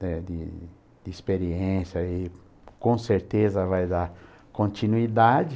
De de experiência e com certeza vai dar continuidade.